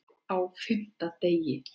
Á FIMMTA DEGI